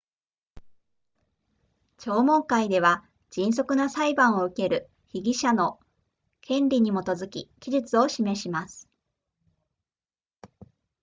聴聞会では迅速な裁判を受ける被疑者の権利に基づき期日を示します